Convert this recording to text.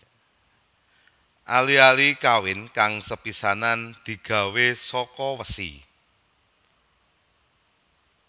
Ali ali kawin kang sepisanan digawé saka wesi